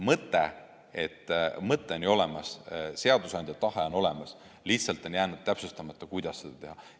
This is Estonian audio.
Mõte on ju olemas, seadusandja tahe on olemas, lihtsalt on jäänud täpsustamata, kuidas seda teha.